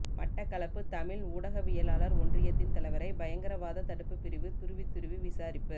மட்டக்களப்பு தமிழ் ஊடகவியலாளர் ஒன்றியத்தின் தலைவரை பயங்கரவாத தடுப்பு பிரிவு துருவித்துருவி விசாரிப்பு